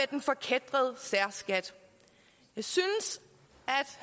den forkætrede særskat jeg synes